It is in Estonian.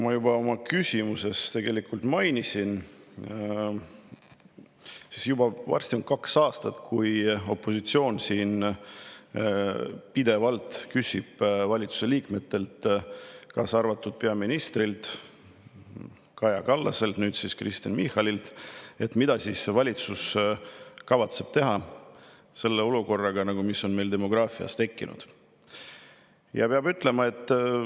Nagu ma oma küsimuses juba mainisin, pea kaks aastat on opositsioon siin pidevalt küsinud valitsuse liikmetelt, sealhulgas peaminister Kaja Kallaselt ja Kristen Michalilt, mida kavatseb valitsus selle olukorraga, mis meil on tekkinud.